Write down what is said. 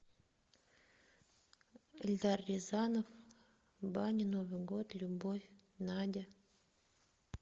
эльдар рязанов баня новый год любовь надя